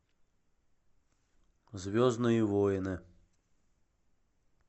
звездные войны